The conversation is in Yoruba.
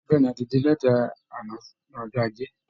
Bẹ́ẹ̀ ni, a ti dé láti àná ọjọ́ Ajé